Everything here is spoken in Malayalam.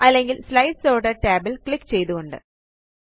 അല്ലെങ്കില് സ്ലൈഡ് സോർട്ടർ tab ല് ക്ലിക്ക് ചെയ്തുകൊണ്ട്